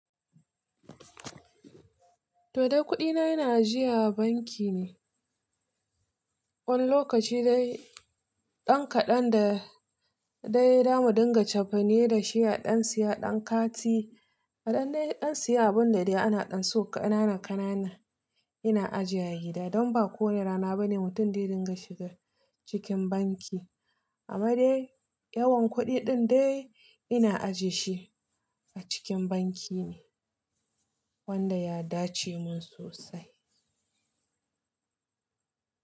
To dai kuɗina ina ajiya a banki ne. Wani lokaci dai ɗan kaɗan da dai da mu dinga cefane da shi a ɗan siya ɗan kati. A ɗan dai ɗan siya abun da dai ana ɗan so ƙanana ƙanana ina ajiya gida. Don ba kowane rana ba ne mutum zai dinga shiga cikin banki. Amma dai yawan kuɗi ɗin dai ina ajiye shi a cikin banki ne wanda ya dace mun sosai.